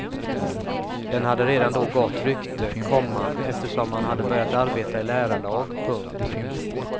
Den hade redan då gott rykte, komma eftersom man hade börjat arbeta i lärarlag. punkt